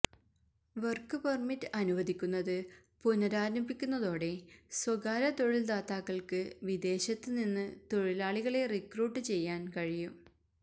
work permit അനുവദിക്കുന്നത് പുനരാരംഭിക്കുന്നതോടെ സ്വകാര്യ തൊഴില്ദാതാക്കള്ക്ക് വിദേശത്ത് നിന്ന് തൊഴിലാളികളെ റിക്രൂട്ട് ചെയ്യാന് കഴിയും